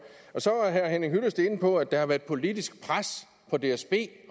så er herre henning hyllested inde på at der har været politisk pres på dsb